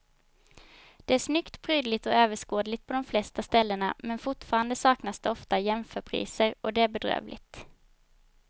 Det är snyggt, prydligt och överskådligt på de flesta ställena men fortfarande saknas det ofta jämförpriser och det är bedrövligt.